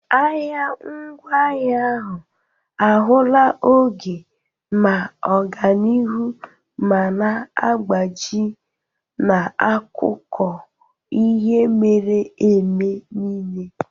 Ahịa ngwaahịa ahụ ahụla oge ma ọganihu ma na-agbaji n'akụkọ ihe mere eme niile.